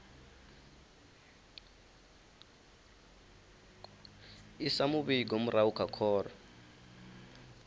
isa muvhigo murahu kha khoro